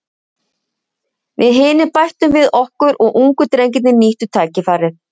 Við hinir bættum við okkur og ungu drengirnir nýttu tækifærið.